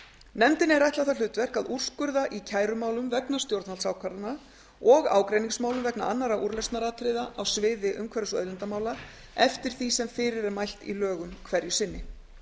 nefndinni er ætlað það hlutverk að úrskurða í kærumálum vegna stjórnvaldsákvarðana og ágreiningsmálum vegna annarra úrlausnaratriða á sviði umhverfis og auðlindamála eftir því sem fyrir er mælt í lögum hverju sinni